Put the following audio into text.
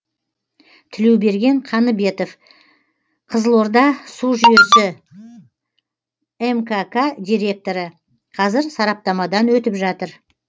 тілеуберген қаныбетов қызылордасужүйесі мкк директоры қазір сараптамадан өтіп жатыр